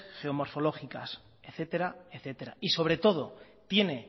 geoformologicas etcétera etcétera y sobre todo tiene